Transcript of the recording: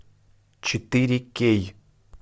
четыре кей